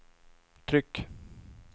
tryck